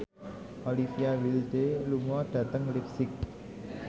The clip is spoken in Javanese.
Olivia Wilde lunga dhateng leipzig